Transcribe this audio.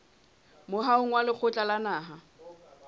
moahong wa lekgotla la naha